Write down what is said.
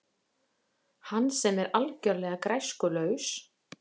Hann sem er algjörlega græskulaus.